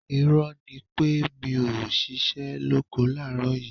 Irọ́ ni pé mi ò ṣiṣẹ́ lóko láàárọ̀ yìí